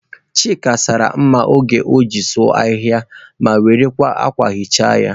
Chike sara mma oge o jiri sụọ ahịhịa mmiri ma were akwa hichaa ya.